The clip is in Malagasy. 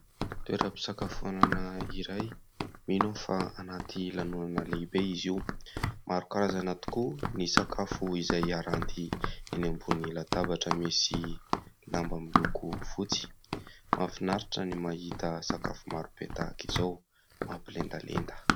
Toeram-pisakafoanana iray, mino aho fa anaty lanonana lehibe izy io. Maro karazana tokoa ny sakafo izay aranty eny ambony latabatra misy lamba miloko fotsy. Mahafinaritra ny mahita sakafo marobe tahaka izao mampilendalenda.